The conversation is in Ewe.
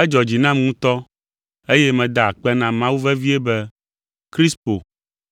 Edzɔ dzi nam ŋutɔ eye meda akpe na Mawu vevie be Krispo